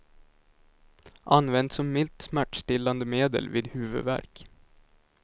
Använt som milt smärtlindrande medel vid huvudvärk.